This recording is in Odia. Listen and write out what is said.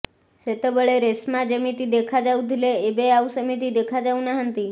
ସେତେବେଳେ ରେଶ୍ମା ଯେମିତି ଦେଖାଯାଉଥିଲେ ଏବେ ଆଉ ସେମିତି ଦେଖାଯାଉନାହାନ୍ତି